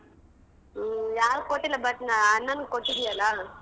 ಹ್ಮ್ ಯಾರಿಗ್ ಕೊಟ್ಟಿಲ್ಲ but ಅಣ್ಣನಿಗ್ ಕೊಟ್ಟಿದ್ಯಲ್ಲ.